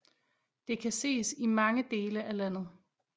De kan ses i mange dele af landet